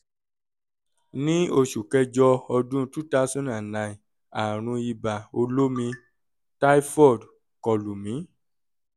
ní oṣù kẹjọ ọdún 2009 àrùn ibà olómi (typhoid) kọ lù mí